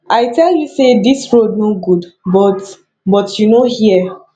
i tell you say dis road no good but but you no hear